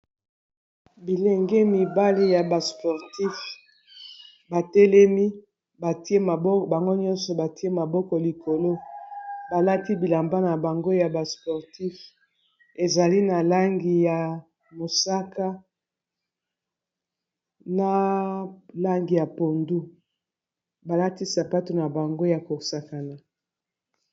Bilenge mibale ya ba sportif ba telemi atie mbango nyonso batie maboko likolo balati bilamba na bango ya ba sportif ezali na langi ya mosaka, na langi ya pondu, balati sapato na bango ya kosakana.